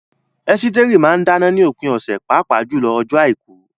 Esteri máa ń dáná ní òpin ọ̀sẹ̀, pàápàá jùlọ ọjọ́ Àìkú.